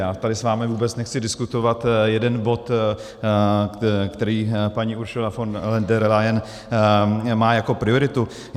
Já tady s vámi vůbec nechci diskutovat jeden bod, který paní Ursula von der Leyen má jako prioritu.